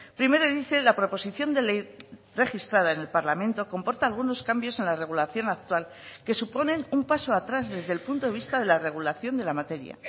primero dice la proposición de ley registrada en el parlamento comporta algunos cambios en la regulación actual que suponen un paso atrás desde el punto de vista de la regulación de la materia